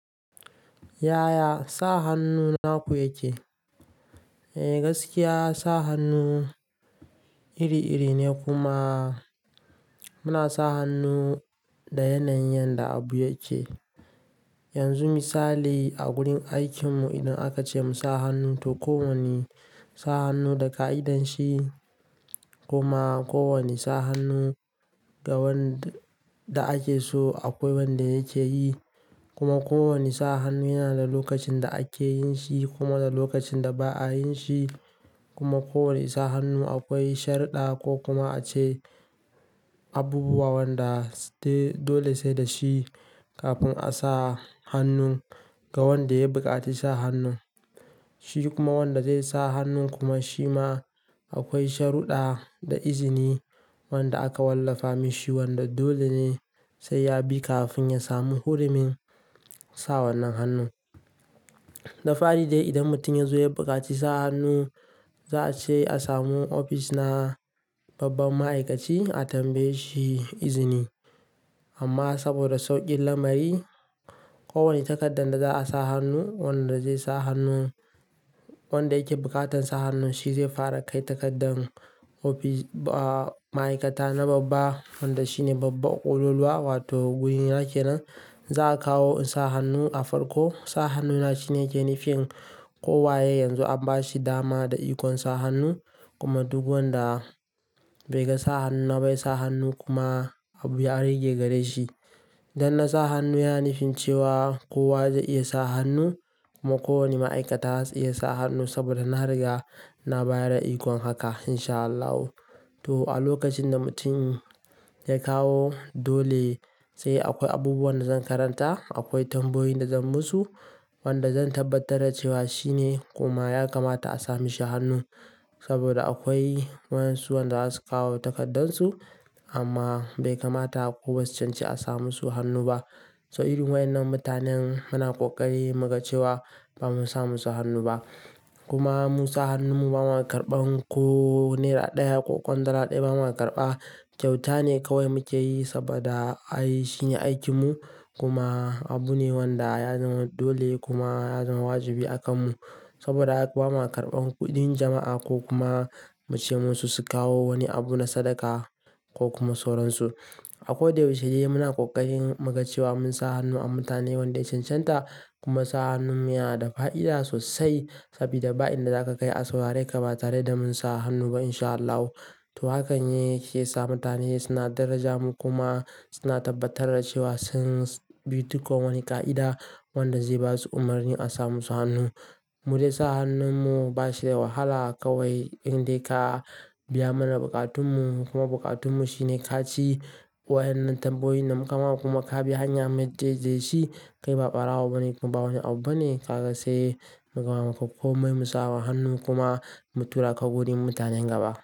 Yaya sa hannu naku yake? Eh gaskiya sa hannu iri-iri ne kuma muna sa hannu da yanayin yanda abu yake. Yanzu misali a wurin aikin mu idan aka ce mu sa hannu to kowane sa hannu da ƙa'idanshi kuma kowane sa hannu ga wanda ake so akwai wanda yake yi. Kuma kowane sa hannu yana da lokacin da ake yin shi kuma da lokacin da ba'a yin shi. Kuma kowane sa hannu akwai sharɗa ko kuma ace abubuwa wanda dole sai da shi kafin a sa hannun ga wanda ya buƙaci sa hannun. Shi kuma wanda zai sa hannun kuma shi ma akwai sharuɗa da izini wanda aka wallafa mashi wanda dole ne sai ya bi kafin ya samu hurumin sa wannan hannun. Da fari dai idan mutum ya zo ya buƙaci sa hannu za a ce a samu ofis na babban ma'aikaci a tambaye shi izini. Amma saboda sauƙin lamari, kowane takardar da za a sa hannu wanda zai sa hannun wanda yake buƙatar sa hannun shi zai fara kai takardar ofis ba ma'aikata na babban wanda shine babba ƙololuwa wato guri na kenan Za a kawo in sa hannu a farko, sa hannuna shine yake nufin kowaye ne yanzu an ba shi dama da ikon sa hannu kuma duk wanda bai ga sa hannu na ba yasa hannu kuma abu ya rage gare shi. Dan na sa hannu yana nufin cewa kowa zai iya sa hannu kuma kowane ma'aikata zai iya sa hannu saboda na riga na bayar da ikon haka insha Allahu. To a lokacin da mutum ya kawo dole sai akwai abubuwan da zan karanta, akwai tambayoyi da zan musu wanda zan tabbatar da cewa shine kuma ya kamata a sa mashi hannu. Saboda akwai wayansu wanda za su kawo takardunsu amma bai kamata ko basu cancanci a sa musu hannu ba. So irin wayen nan mutanen muna ƙoƙari muga cewa ba mu sa musu hannu ba. Kuma mu sa hannun mu ba ma karɓan ko naira ɗaya ko kwandala ɗaya ba ma karɓa kyauta ne kawai muke yi saboda ai shine aikin mu kuma abu ne wanda ya zama dole kuma ya zama wajibi a kanmu. Saboda haka ba ma karɓan kuɗin jama'a ko kuma mu ce musu su kawo wani abu na sadaka ko kuma sauransu. A ko da yaushe muna ƙoƙarin muga cewa mun sa hannu a mutane wanda ya can can ta kuma sa hannun mu yana da fa'ida sosai sabida ba'in da za ka kai a saurare ka ba tare da mun sa hannu ba insha Allahu. To hakan yake sa mutane suna daraja mu kuma suna tabbatar da cewa sun bi duk wani ƙa'ida wanda zai ba su umurni a sa musu hannu. Mu dai sa hannun mu ba shi da wahala kawai indai ka biya mana buƙatun mu kuma buƙatun mu shine kaci wayan nan tambayoyin da muka ma kuma ka bi hanya madaidaishi kai ba ɓarawo bane kuma ba wani abu bane ka ga sai mu zauna kankomai musa ma hannu kuma mu tura ka wurin mutanen gaba.